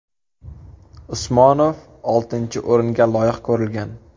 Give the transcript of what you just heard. Usmonov oltinchi o‘ringa loyiq ko‘rilgan.